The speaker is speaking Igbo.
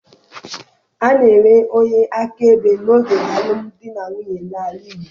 A na-enwe onye akaebe n'oge alụm di na nwunye n'ala Igbo.